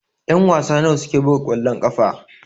Ƴan-wasa nawa suke buga kwallon ƙafa?